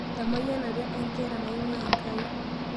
Emayianata nkera naing'uaa Enkai